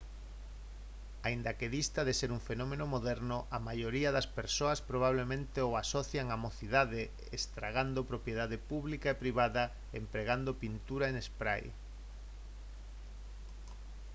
aínda que dista de ser un fenómeno moderno a maioría das persoas probablemente o asocian á mocidade estragando propiedade pública e privada empregando pintura en spray